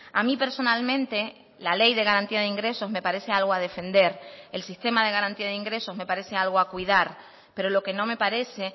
a mí personalmente la ley de garantía de ingresos me parece algo a defender el sistema de garantía de ingresos me parece algo a cuidar pero lo que no me parece